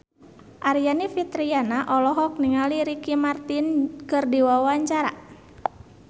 Aryani Fitriana olohok ningali Ricky Martin keur diwawancara